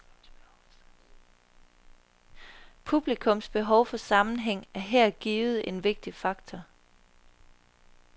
Publikums behov for sammenhæng er her givet en vigtig faktor.